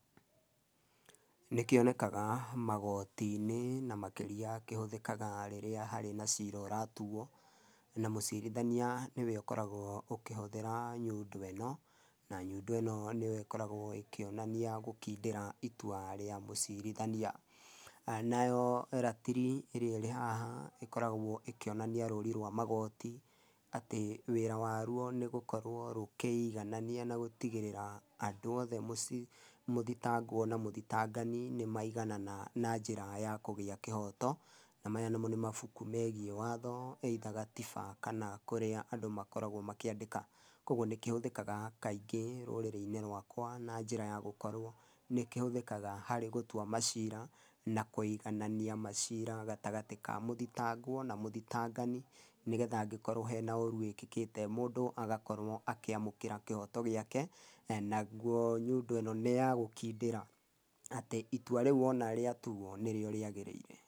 Nĩ kĩonekaga magooti-inĩ na makĩria kĩhũthĩkaga rĩrĩa harĩ na ciira ũratuo, na mũcirithania nĩwe ũkoragwo ũkĩhũthĩra nyundo ĩno, na nyundo ĩno nĩyo ĩkoragwo ĩkĩonania gũkindĩra itua rĩa mũcirithania. Nayo ratiri ĩrĩa ĩrĩ haha ĩkoragwo ĩkĩonania rũri rwa magooti, atĩ wĩra warwo nĩ gũkorwo rũkĩiganania na gũtigĩrĩra andũ othe mũci, mũthitangwo na mũthitangani nĩmaiganana na njĩra ya kũgĩa kĩhoto. Na maya namo nĩ mabuku megiĩ watho either gatiba kana kũrĩa andũ makoragwo makĩandĩka. Koguo nĩ kĩhũthĩkaga kaingĩ rũrĩrĩ-inĩ rwakwa na njĩra ya gũkorwo nĩkĩhũthĩkaga harĩ gũtua maciira na kwĩganania maciira gatagatĩ ka mũthitangwo na mũthitangani nĩgetha hangĩkorwo hena ũru wĩkĩkĩte mũndũ agakorwo akĩamũkĩra kĩhoto gĩake, nagwo nyundo ĩno nĩya gũkindĩra atĩ itua rĩu wona rĩa tuo nĩrĩo rĩagĩrĩire.